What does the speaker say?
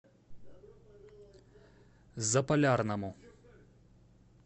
заполярному